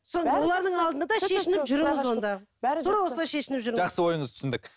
жақсы ойыңызды түсіндік